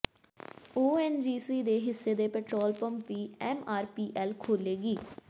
ONGC ਦੇ ਹਿੱਸੇ ਦੇ ਪੈਟਰੋਲ ਪੰਪ ਵੀ ਐੱਮਆਰਪੀਐੱਲ ਖੋਲ੍ਹੇਗੀ